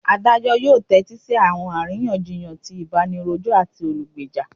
Adajọ yoo tẹtisi awọn ariyanjiyan ti ibanirojọ ati olugbeja.